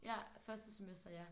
Ja. Første semester ja